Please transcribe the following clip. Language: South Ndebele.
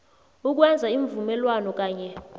ukwenza iimvumelwano kanye